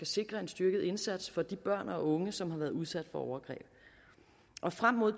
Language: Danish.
sikre en styrket indsats for de børn og unge som har været udsat for overgreb frem mod